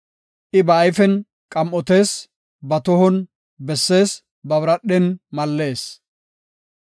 I ba ayfen qam7otees; ba tohon bessees; ba biradhen mallees.